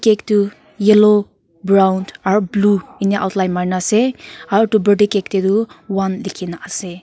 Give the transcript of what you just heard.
etu yellow brown aru blue enika outline marikina ase aru etu birthday cake ti tu one lekina ase.